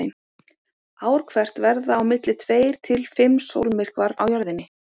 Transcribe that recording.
Ár hvert verða á milli tveir til fimm sólmyrkvar á Jörðinni.